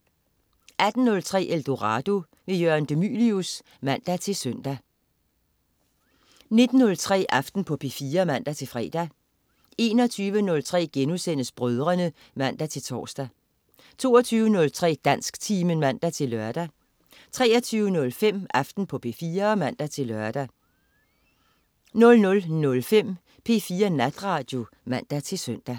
18.03 Eldorado. Jørgen de Mylius (man-søn) 19.03 Aften på P4 (man-fre) 21.03 Brødrene* (man-tors) 22.03 Dansktimen (man-lør) 23.05 Aften på P4 (man-lør) 00.05 P4 Natradio (man-søn)